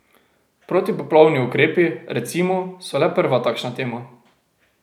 Protipoplavni ukrepi, recimo, so le prva takšna tema.